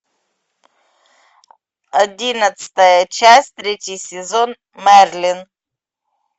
одиннадцатая часть третий сезон мерлин